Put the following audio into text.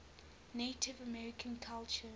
native american culture